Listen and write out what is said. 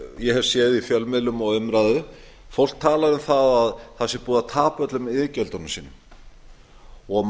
hef séð í fjölmiðlum og umræðu fólk tala um að það sé búið að tapa öllum iðgjöldunum sínum